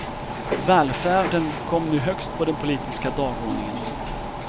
Välfärden kom nu högst på den politiska dagordningen.